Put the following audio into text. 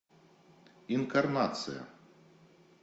инкарнация